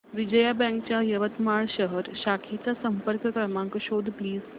Vijaya bank च्या यवतमाळ शहर शाखेचा संपर्क क्रमांक शोध प्लीज